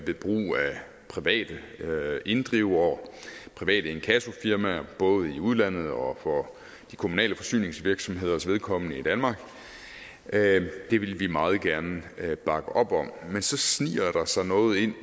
private inddrivere private inkassofirmaer både i udlandet og for de kommunale forsyningsvirksomheders vedkommende i danmark det vil vi meget gerne bakke op om men så sniger der sig noget ind